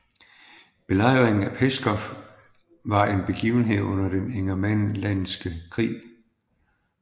Belejringen af Pskov var en begivenhed under den ingermanlandske krig